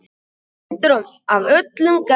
dvergplöntur af öllum gerðum